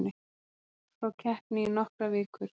Rúnar frá keppni í nokkrar vikur